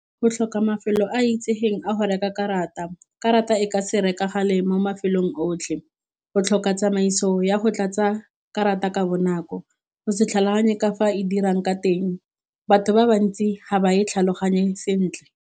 Go tlhoka mafelo a itsegeng a go reka karata karata e ka se rekagale mo mafelong otlhe, go tlhoka tsamaiso ya go tlatsa karata ka bonako, go se tlhaloganye ka fa e dirang ka teng batho ba bantsi ga ba e tlhaloganye sentle.